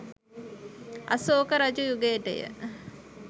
අසෝක රජු යුගයටය.